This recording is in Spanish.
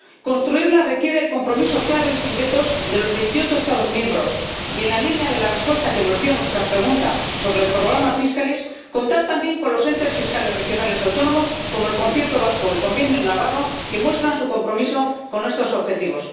Construirla requiere el compromiso claro y sin vetos de los veintiocho Estados miembros y, en la línea de la respuesta que nos dio a nuestra pregunta sobre el programa Fiscalis, contar también con los entes fiscales regionales autónomos, como el concierto vasco o el convenio navarro, que muestran su compromiso con nuestros objetivos.